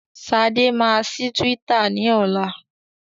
Ṣadé máa ṣí Twitter ní ọlá.